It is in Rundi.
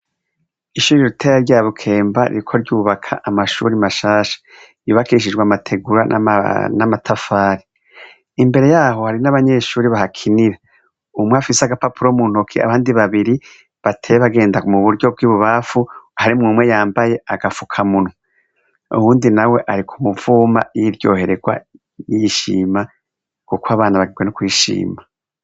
Ishure ritoyi rya Bukemba ririko ryubaka amashure mashasha ryubakishijwe amategura, amabuye n'amatafari. Imbere yaho hari n'abanyeshure barakinira. Umwe afise agapapuro mu ntoke, abandi babiri bateye bagenda mu buryo bw'i bubamfu harimwo umwe yambaye agafukamunwa, uwundi nawe ari ku muvuma yiryoherewe